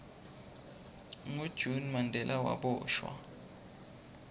ngo june mandela waboshwa